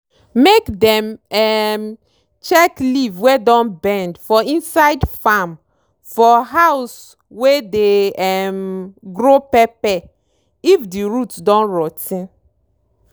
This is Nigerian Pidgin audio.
mke dem um check leave wey don bend for inside farm for house wey dey um grow pepper if di root don rot ten.